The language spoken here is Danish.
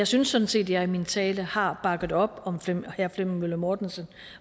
synes sådan set at jeg i min tale har bakket op om herre flemming møller mortensen